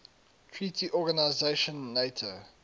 treaty organisation nato